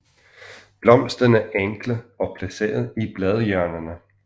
Blomsterne enkle og placeret i bladhjørnerne